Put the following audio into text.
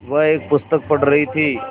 वह एक पुस्तक पढ़ रहीं थी